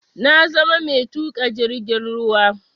Na zama mai tuƙa jirgin ruwa